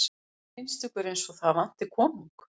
Finnst ykkur eins og það vanti konung?